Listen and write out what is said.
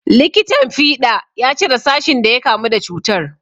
Likitan fiɗa ya cire sashin da ya kamu da cutar.